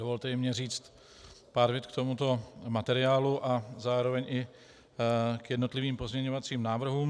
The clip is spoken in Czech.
Dovolte i mně říct pár vět k tomuto materiálu a zároveň i k jednotlivým pozměňovacím návrhům.